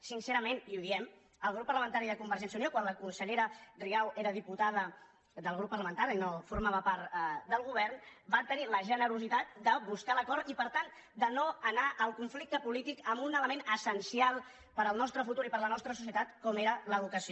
sincerament i ho diem el grup parlamentari de convergència i unió quan la consellera rigau era diputada del grup parlamentari i no formava part del govern va tenir la generositat de buscar l’acord i per tant de no anar al conflicte polític amb un element essencial per al nostre futur i per a la nostra societat com era l’educació